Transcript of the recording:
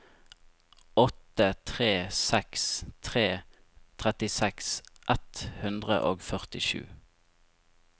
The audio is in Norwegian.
åtte tre seks tre trettiseks ett hundre og førtisju